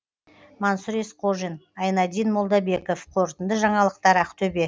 мансұр есқожин айнадин молдабеков қорытынды жаңалықтар ақтөбе